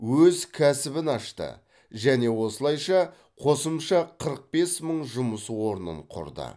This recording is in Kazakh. өз кәсібін ашты және осылайша қосымша қырық бес мың жұмыс орнын құрды